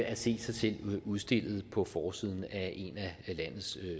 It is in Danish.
at se sig selv udstillet på forsiden af en af landets